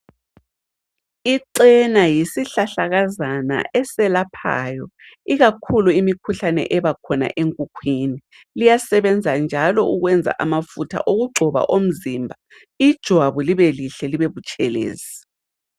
Icena yisihlahlakazana eselaphayo ikakhulu imikhuhlane ebakhona enkukhwini. Liyasebenza njalo ukwenza amafutha okugcoba omzimba ijwabu libelihle libebutshelezi.